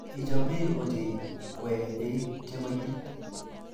Kichomei ochei koee beek che koitit.